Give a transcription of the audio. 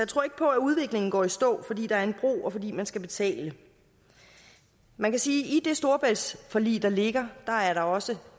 tror ikke på at udviklingen går i stå fordi der er en bro og fordi man skal betale man kan sige at i det storebæltsforlig der ligger er der også